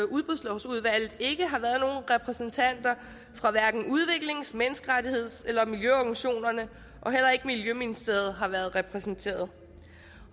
udbudslovsudvalget hverken har været repræsentanter for udviklings menneskerettigheds eller miljøorganisationerne og heller ikke miljøministeriet har været repræsenteret